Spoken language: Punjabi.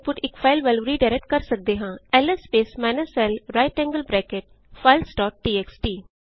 ਅਸੀ ਆਉਟਪੁਟ ਇਕ ਫਾਈਲ ਵੱਲ ਰੀਡਾਇਰੈਕਟ ਕਰ ਸਕਦੇ ਹਾਂ LS space minus l right angled bracket files dot txt